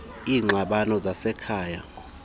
iingxabano zasekhaya icbnrm